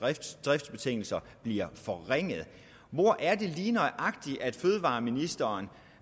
dets driftsbetingelser bliver forringede hvor er det lige nøjagtig fødevareministeren